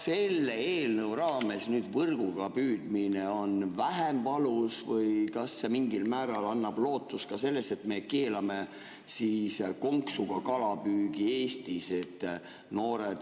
Selle eelnõu raames: kas võrguga püüdmine on vähem valus või kas see mingil määral annab lootust ka selleks, et me keelame siis konksuga kalapüügi Eestis?